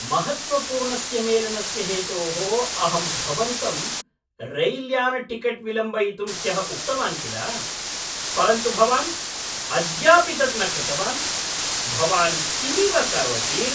महत्त्वपूर्णस्य मेलनस्य हेतोः अहं भवन्तं रैल्यानटिकेट् विलम्बयितुं ह्यः उक्तवान् किल, परन्तु भवान् अद्यापि तत् न कृतवान्, भवान् किमिव करोति?